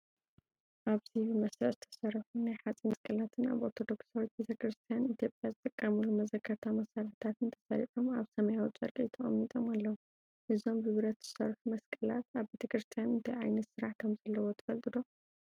ኣብዚ ብመስርዕ ዝተሰርሑ ናይ ሓጺን መስቀላትን ኣብ ኦርቶዶክሳዊት ቤተ ክርስቲያን ኢትዮጵያ ዝጥቀሙሉ መዘከርታ መሳርሒታትን ተሰሪዖም ኣብ ሰማያዊ ጨርቂ ተቐሚጦም ኣለዉ። እዞም ብብረት ዝሰርሑ መስቀላት ኣብ ቤተ ክርስቲያን እንታይ ዓይነት ስራሕ ከም ዘለዎም ትፈልጡ ዶ?